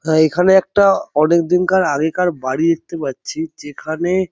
হা এখানে একটা অনেক দিন কার আগের কার বাড়ি দেখতে পাচ্ছি যেখানে--